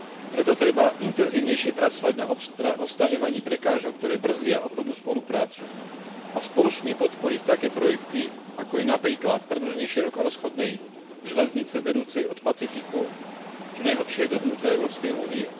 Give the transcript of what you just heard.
Preto treba intenzívnejšie pracovať na odstraňovaní prekážok, ktoré brzdia obchodnú spoluprácu a spoločne podporiť také projekty, ako je napríklad predĺženie širokorozchodnej železnice vedúcej od Pacifiku čo najhlbšie do vnútra Európskej únie.